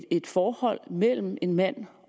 et forhold mellem en mand